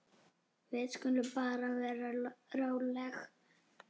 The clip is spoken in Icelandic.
Við skulum bara vera róleg.